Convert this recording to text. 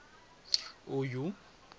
uyu